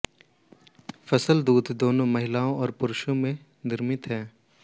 फसल दूध दोनों महिलाओं और पुरुषों में निर्मित है